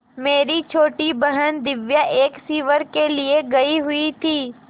मेरी छोटी बहन दिव्या एक शिविर के लिए गयी हुई थी